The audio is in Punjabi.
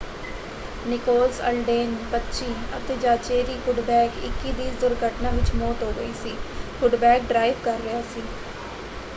ਨਿਕੋਲਸ ਅਲਡੇਨ 25 ਅਤੇ ਜਾਚੇਰੀ ਕੁੱਡਬੈਕ 21 ਦੀ ਇਸ ਦੁਰਘਟਨਾ ਵਿੱਚ ਮੌਤ ਹੋ ਗਈ ਸੀ। ਕੁੱਡਬੈਕ ਡਰਾਈਵ ਕਰ ਰਿਹਾ ਸੀ।